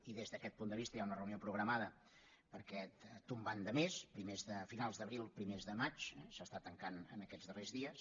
i des d’aquest punt de vista hi ha una reunió programada per a aquest tombant de mes a finals d’abril primers de maig s’està tancant en aquests darrers dies